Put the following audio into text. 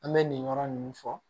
An bɛ nin yɔrɔ ninnu fɔ